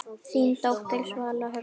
Þín dóttir, Svala Hrönn.